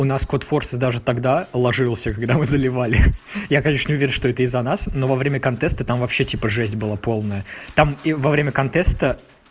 у нас код форсис даже тогда ложился когда мы заливали я конечно не уверен что это из-за нас но во время контеста там вообще типа жесть была полная там во время контеста